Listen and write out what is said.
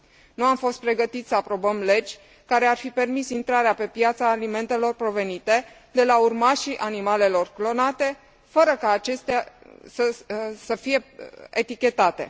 Nu am fost pregătiți să aprobăm legi care ar fi permis intrarea pe piață a alimentelor provenite de la urmașii animalelor clonate fără că acestea să fie etichetate.